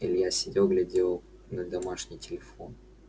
илья сидел глядел на домашний телефон